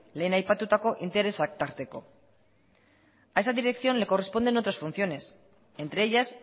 lehen aipatutako interesak tarteko a esa dirección le corresponden otras funciones entre ellas